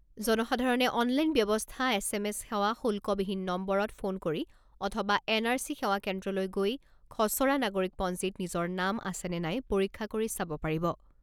জনসাধাৰণে অনলাইন ব্যৱস্থা, S M S সেৱা, শুল্কবিহীন নম্বৰত ফোন কৰি অথবা এন আৰ চি সেৱা কেন্দ্ৰলৈ গৈ খছৰা নাগৰিকপঞ্জীত নিজৰ নাম আছে নে নাই পৰীক্ষা কৰি চাব পাৰিব।